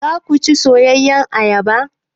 Zaku ci soyayyar ayaba?